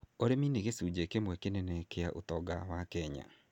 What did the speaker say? Ũrĩmi nĩ gĩcunjĩ kĩmwe kĩnene kĩa ũtonga wa Kenya.